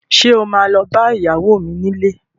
Sọ ma lọ bá ìyàwó mi nílé?